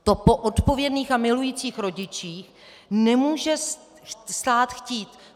To po odpovědných a milujících rodičích nemůže stát chtít.